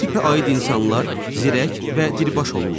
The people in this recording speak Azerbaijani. Bu tipə aid insanlar zirək və diribaş olurlar.